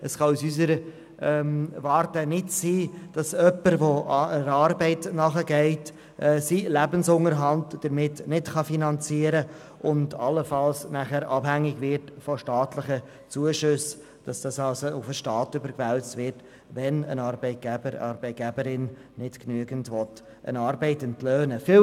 Es kann aus unserer Warte nicht sein, dass jemand, der einer Arbeit nachgeht, seinen Lebensunterhalt nicht damit finanzieren kann und allenfalls nachher von staatlichen Zuschüssen abhängig wird, sodass es also auf den Staat überwälzt wird, wenn ein Arbeitgeber, eine Arbeitgeberin eine Arbeit nicht genügend entlöhnen will.